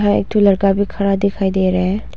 यहां एक ठो लड़का भी खड़ा दिखाई दे रहे हैं।